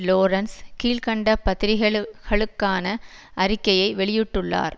Lawrence கீழ்கண்ட பத்திரிகைளு களுக்கான அறிக்கையை வெளியிட்டுள்ளார்